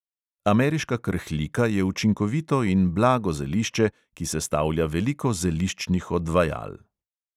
Ameriška krhlika je učinkovito in blago zelišče, ki sestavlja veliko zeliščnih odvajal.